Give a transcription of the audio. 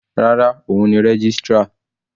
Rárá, òun ni registrar.